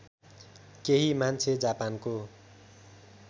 केहि मान्छे जापानको